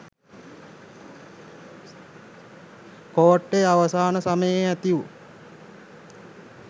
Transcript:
කෝට්ටේ අවසාන සමයෙහි ඇතිවු